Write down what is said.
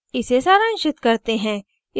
इसे सारांशित करते हैं